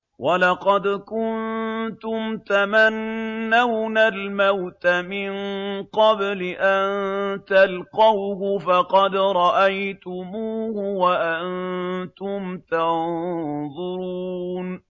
وَلَقَدْ كُنتُمْ تَمَنَّوْنَ الْمَوْتَ مِن قَبْلِ أَن تَلْقَوْهُ فَقَدْ رَأَيْتُمُوهُ وَأَنتُمْ تَنظُرُونَ